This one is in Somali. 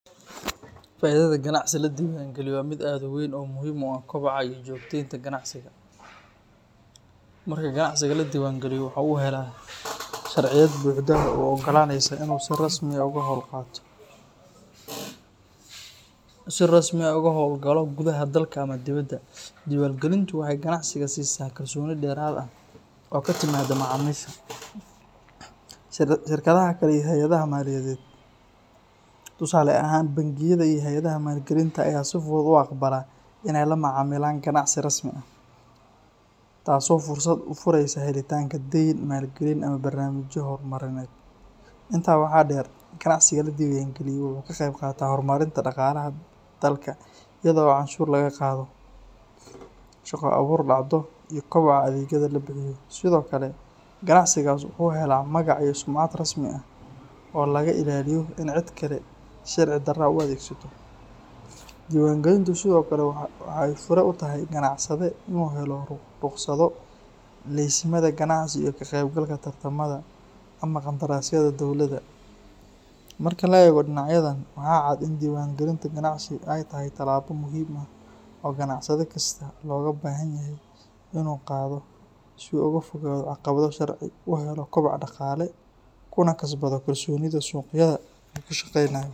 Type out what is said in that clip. Faa’iidada ganacsi la diiwaangeliyay waa mid aad u weyn oo muhiim u ah koboca iyo joogtaynta ganacsiga. Marka ganacsiga la diiwaangeliyo, waxaa uu helaa sharciyad buuxda oo u oggolaanaysa inuu si rasmi ah uga howl galo gudaha dalka ama dibadda. Diiwaangelintu waxay ganacsiga siisaa kalsooni dheeraad ah oo ka timaadda macaamiisha, shirkadaha kale iyo hay’adaha maaliyadeed. Tusaale ahaan, bangiyada iyo hay’adaha maalgelinta ayaa si fudud u aqbala in ay la macaamilaan ganacsi rasmi ah, taasoo fursad u fureysa helitaanka deyn, maalgelin, ama barnaamijyo horumarineed. Intaa waxaa dheer, ganacsiga la diiwaangeliyay waxa uu ka qeybqaataa horumarinta dhaqaalaha dalka iyada oo canshuur laga qaado, shaqo abuur dhacdo, iyo kobaca adeegyada la bixiyo. Sidoo kale, ganacsigaas wuxuu helaa magac iyo sumcad rasmi ah oo laga ilaaliyo in cid kale si sharci darro ah u adeegsato. Diiwaangelintu sidoo kale waxay fure u tahay ganacsade inuu helo rukhsado, laysimada ganacsi, iyo ka qeybgalka tartamada ama qandaraasyada dowladda. Marka la eego dhinacyadan, waxaa cad in diiwaangelinta ganacsigu ay tahay tallaabo muhiim ah oo ganacsade kasta looga baahan yahay inuu qaado si uu uga fogaado caqabado sharci, u helo koboc dhaqaale, kuna kasbado kalsoonida suuqyada uu ka shaqeynayo.